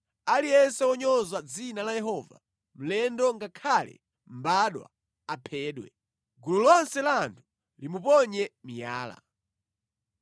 Aliyense wonyoza dzina la Yehova, mlendo ngakhale mbadwa, aphedwe. Gulu lonse la anthu limuponye miyala.